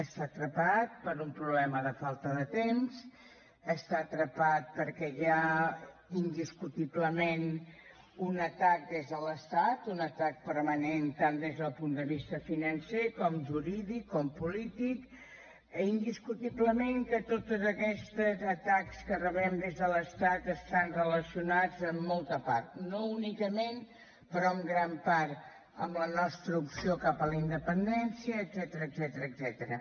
està atrapat per un problema de falta de temps està atrapat perquè hi ha indiscutiblement un atac des de l’estat un atac permanent tant des del punt de vista financer com jurídic com polític i indiscutiblement que tots aquests atacs que rebem des de l’estat estan relacionats en molta part no únicament però en gran part amb la nostra opció cap a la independència etcètera